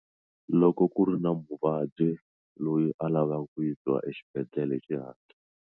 Loko ku ri na muvabyi loyi a lavaka ku yisiwa exibedhlele hi xihatla.